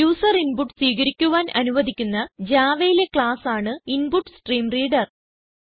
user input സ്വീകരിക്കുവാൻ അനുവദിക്കുന്ന Javaയിലെ ക്ലാസ് ആണ് ഇൻപുട്സ്ട്രീംറീംറീഡർ